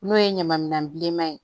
N'o ye ɲama minɛn bilenman ye